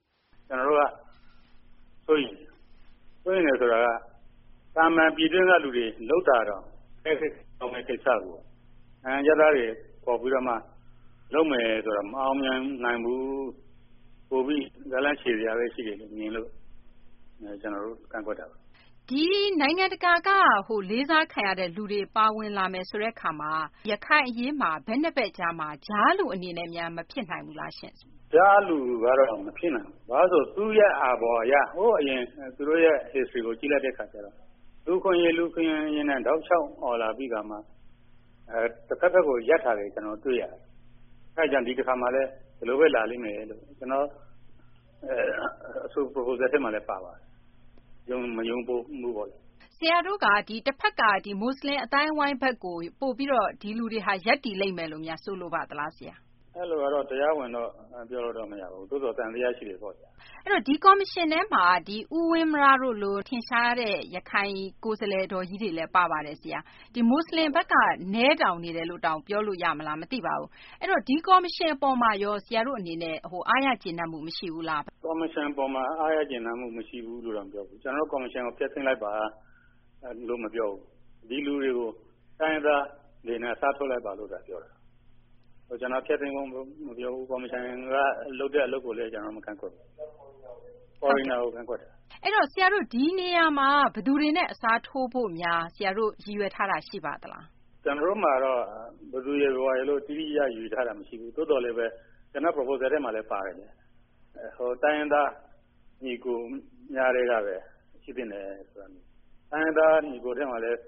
“ကျနော်တို့က စိုးရိမ်တယ်။ စိုးရိမ်တယ်ဆိုတာက သာမန်ပြည်တွင်းက လူတွေလုပ်တာတောင် အခက်ကြုံဖြစ်မယ့်ကိစ္စကို နိုင်ငံခြားသားတွေ ခေါ်ပြီးတော့မှ လုပ်မယ်ဆိုတာ မအောင်မြင်နိုင်ဘူး ပိုပြီး ဇာတ်လမ်းရှည်စရာပဲ ရှိတယ်လို့ မြင်လို့ ကျနော်တို့ ကန့်ကွက်တာပါ။ မေး။ ။ ဒီ နိုင်ငံတကာက လေးစားခံရတဲ့ လူတွေပါဝင်လာမယ်ဆိုတဲ့ အခါမှာ ရခိုင်အရေးမှာ ဘက် ၂ ဘက် ကြားမှာ ကြားလူအနေနဲ့များ မဖြစ်နိုင်ဘူးလားရှင့်။ ဖြေ။ ။ ကြားလူကတော့ မဖြစ်နိုင်ဘူး ဘာဖြစ်လို့လဲဆိုတော့ သူရဲ့အာဘော်အရ ဟိုးအရင် သူတို့ရဲ့ History ကိုကြည့်လိုက်တဲ့အခါကျတော့ လူ့အခွင့်အရေး ၊ လူ့အခွင့်အရေးနဲ့ တောက်လျှောက်အော်လာပြီးခါမှ တဘက်ဘက်ကို ရပ်တာတွေ ကျနော်တို့ တွေ့ရတယ်။ အဲဒါကြောင့် ဒီတခါမှာလည်း ဒီလိုပဲ လာလိမ့်မယ်လို့ ကျနော် အဆိုပြုချက်ထဲမှာလည်း ပါပါတယ်။ မယုံမှုပေါ့လေ။ မေး။ ။ ဆရာတို့က တဘက်က ဒီ မွတ်ဆလင်အသိုင်းအဝိုင်း ဘက်ကို ပိုပြီးတော့ ဒီလူတွေဟာ ရပ်တည်လိမ့်မယ်လို့ ဆိုလိုပါသလားဆရာ။ ဖြေ။ ။ အဲလိုကတော့ တရားဝင်တော့ ပြောလို့မရဘူး သို့သော်သံသယရှိတယ်ပေါ့ဗျာ။ မေး။ ။ အဲဒီတော့ ဒီကော်မရှင်ထဲမှာ ဦးဝင်းမရ တို့လို ထင်ရှားတဲ့ ရခိုင် ကိုယ်စားလှယ်တော်ကြီးတွေလည်း ပါပါတယ်ဆရာ။ ဒီမွတ်ဆလင်ဘက်က နည်းတောင်နည်းနေတယ်လို့တောင်ပြောလို့ ရမလားမသိပါဘူး။ အဲဒီတော့ ဒီ ကော်မရှင်အပေါ်မှာရော ဆရာတို့အနေနဲ့ အားရကျေနပ်မှု မရှိဘူးလား။ ဖြေ။ ။ ကော်မရှင်အပေါ်မှာ အားရကျေနပ်မှုမရှိဘူးလို့ တော့မပြောဘူး။ ကျနော်တို့ ကော်မရှင် ဖျက်သိမ်းလိုက်ပါ လို့မပြောဘူး။ ဒီလူတွေကို တိုင်းရင်းသားတွေနဲ့ အစားထိုးလိုက်ပါလို့ပဲပြောတာ။ ကျနော်က ဖျက်သိမ်းဖို့လည်းမပြောဘူး ကော်မရှင်က လုပ်တဲ့အလုပ်ကိုလည်း ကျနော်တို့ မကန့်ကွက်ဘူး။ Foreigner ကို ကန့်ကွက်တာ။ မေး ။ အဲဒီတော့ ဆရာတို့က ဒီနေရာမှာ ဘယ်သူတွေနဲ့ အစားထိုးဖို့များ ဆရာတို့ ရည်ရွယ်ထားတာ ရှိပါသလား။ ဖြေ။ကျနော်တို့မှာတော့ ဘယ်သူရယ်၊ ဘယ်ဝါရယ်လို့တော့ တိတိကျကျ ရည်ရွယ်ထားတာမရှိဘူး။ သို့သော်လည်း ကျနော့် Proposal ထဲမှာလည်း ပါပါတယ်။ တိုင်းရင်းသား ညီအကိုများထဲကပဲ ၊ တိုင်းရင်းသားညီအကိုထဲမှာလည်း